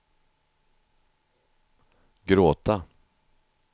gråta